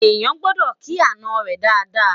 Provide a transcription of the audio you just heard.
eyan gbọdọ kì àná rè Dàda